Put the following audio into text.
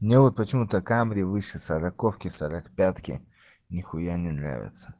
ну вот почему-то камри выше сороковки сорокопятки нехуя не нравится